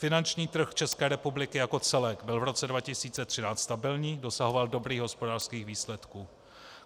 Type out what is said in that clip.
Finanční trh České republiky jako celek byl v roce 2013 stabilní, dosahoval dobrých hospodářských výsledků.